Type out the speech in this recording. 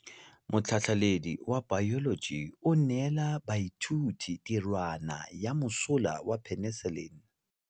Motlhatlhaledi wa baeloji o neela baithuti tirwana ya mosola wa peniselene.